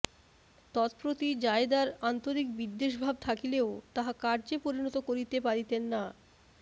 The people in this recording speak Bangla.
তৎপ্রতি জায়েদার আন্তরিক বিদ্বেষভাব থাকিলেও তাহা কার্যে পরিণত করিতে পারিতেন না